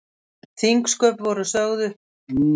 Þingsköp voru sögð upp ár hvert, en lögin öll á þremur sumrum.